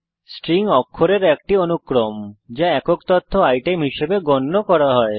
string অক্ষরের একটি অনুক্রম যা একক তথ্য আইটেম হিসাবে গণ্য করা হয়